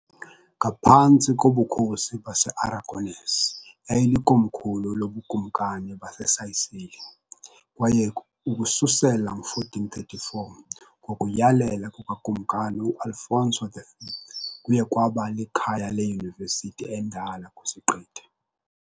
Ngaphantsi kobukhosi base-Aragonese yayilikomkhulu loBukumkani baseSicily, kwaye ukususela ngo-1434 ngokuyalela kukaKumkani u-Alfonso V kuye kwaba likhaya leyunivesithi endala kwisiqithi .